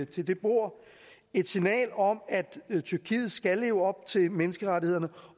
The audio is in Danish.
til det bord et signal om at tyrkiet skal leve op til menneskerettighederne